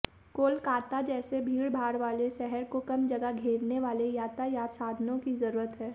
कोलकाता जैसे भीड़भाड़ वाले शहर को कम जगह घेरने वाले यातायात साधनों की जरूरत है